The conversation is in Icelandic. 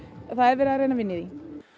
það er verið að reyna að vinna í því